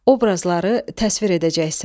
Obrazları təsvir edəcəksən.